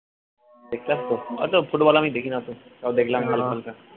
দেখলাম তো অত football আমি দেখিনা তো তাও দেখলাম